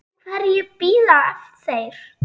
Eftir hverju bíða þeir?